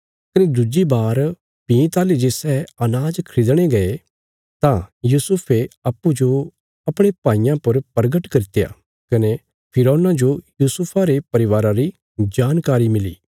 कने दुज्जी बार भीं ताहली जे सै अनाज खरीदणे गये तां यूसुफे अप्पूँजो अपणे भाईयां पर प्रगट करित्या कने फिरौना जो यूसुफा रे परिवारा री जानकारी मिली